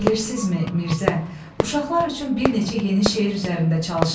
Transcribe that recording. Bilirsinizmi, Mirzə, uşaqlar üçün bir neçə yeni şeir üzərində çalışıram.